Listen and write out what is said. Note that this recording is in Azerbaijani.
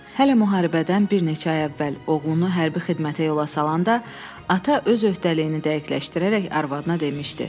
Hələ müharibədən bir neçə ay əvvəl oğlunu hərbi xidmətə yola salanda ata öz öhdəliyini dəqiqləşdirərək arvadına demişdi: